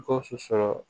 Gawusu sɔrɔ